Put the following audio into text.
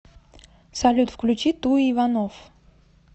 салют включи ту иванов